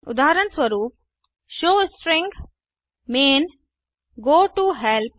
उदाहरणस्वरूप showString main goToHelp